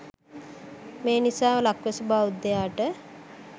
මේ නිසා ලක්වැසි බෞද්ධයාට